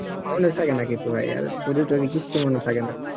মনে থাকে না ভাই আর, পরে তরে কিচ্ছু মনে থাকে না